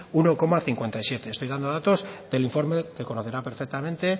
uno coma cincuenta y siete estoy dando datos del informe que conocerá perfectamente